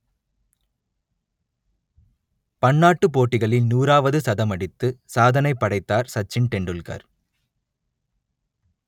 பன்னாட்டுப் போட்டிகளில் நூறாவது சதமடித்து சாதனை படைத்தார் சச்சின் டெண்டுல்கர்